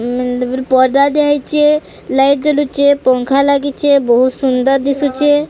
ଉଁ ତାପରେ ପର୍ଦା ଦିଆ ହେଇଚେ ଲାଇଟ୍ ଜଲୁଚେ ପଙ୍ଖା ଲାଗିଚେ ବୋହୁ ସୁନ୍ଦର୍ ଦିସୁଚେ।